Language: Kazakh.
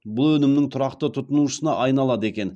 бұл өнімнің тұрақты тұтынушысына айналады екен